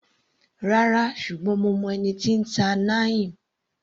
Rárá, ṣùgbọ́n mo mọ ẹni tí n ta Neem.